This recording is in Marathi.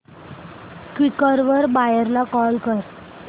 क्वीकर वर बायर ला कॉल कर